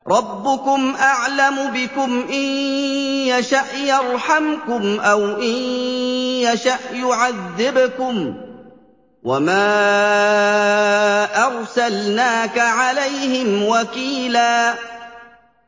رَّبُّكُمْ أَعْلَمُ بِكُمْ ۖ إِن يَشَأْ يَرْحَمْكُمْ أَوْ إِن يَشَأْ يُعَذِّبْكُمْ ۚ وَمَا أَرْسَلْنَاكَ عَلَيْهِمْ وَكِيلًا